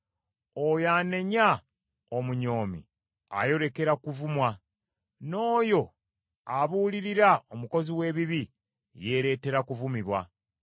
Oyo anenya omunyoomi ayolekera kuvumwa, n’oyo abuulirira omukozi w’ebibi yeeretera kuvumibwa.